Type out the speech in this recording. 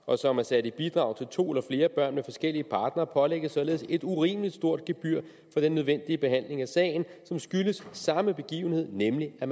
og som er sat i bidrag til to eller flere børn med forskellige partnere pålægges således et urimelig stort gebyr for den nødvendige behandling af sagen som skyldes samme begivenhed nemlig at